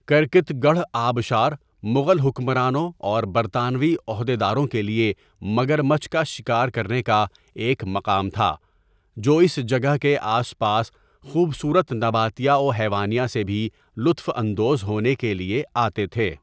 Cricket گڑھ آبشار مغل حکمرانوں اور برطانوی عہدیداروں کے لئے مگرمچھ کا شکار کرنے کا ایک مقام تھا جو اس جگہ کے آس پاس خوبصورت نباتیہ وحیوانیہ سے بھی لطف اندوز ہونے کیلۓ آتے تھے.